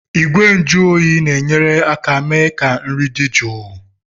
Igwe nju oyi na-enyere aka mee ka nri dị jụụ.